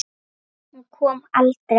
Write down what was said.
Hún kom aldrei.